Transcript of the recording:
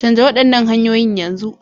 Canja waɗannan hanyoyin yanzu.